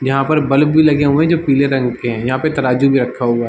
यहाँ पे बल्ब भी लगे हुए है जो पीले रंग के है यहाँ पे तराजू भी रखा हुआ है।